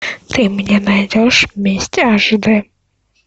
ты мне найдешь месть аш де